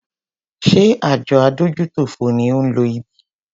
Ṣé àjọ adójútòfò ni ó ń lo ibí?